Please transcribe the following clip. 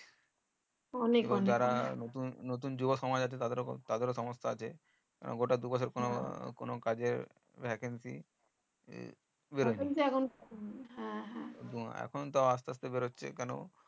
যারা নতুন নতুন যুব সমাজ আছে তাদের ও সনস্থা আছে গোটা দু বছর কোনো কাজে vacancy বেরোয়নি এখন তো আস্তে আস্তে বেরোচ্ছে কেন